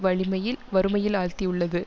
வழிமையில் வறுமையில் ஆழ்த்தி உள்ளது